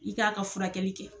I k'a ka furakɛli kɛ.